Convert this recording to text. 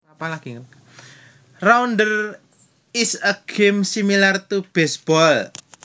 Rounders is a game similar to baseball